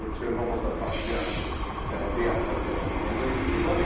O Çernobılda partlayan reaktor qədər onun da gücü var.